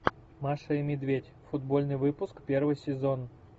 маша и медведь футбольный выпуск первый сезон